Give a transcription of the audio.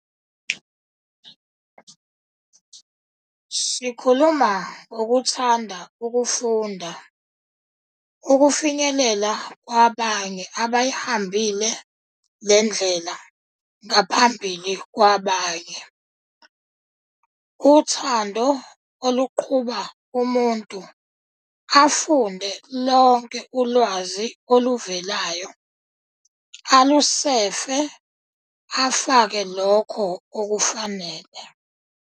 Sikhuluma ngokuthanda ukufunda, ukufinyelela kwabanye abayihambile le ndlela ngaphambili kwabanye, uthando oluqhuba umuntu afunde lonke ulwazi oluvelayo, alusefe afake lokho okufanele.